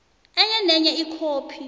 enye nenye ikhophi